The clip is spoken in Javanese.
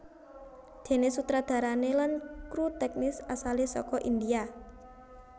Déné sutradarané lan kru tèknis asalé saka India